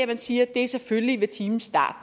det siger det er selvfølgelig ved timens start